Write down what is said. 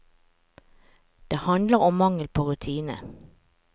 Det handler om mangel på rutine.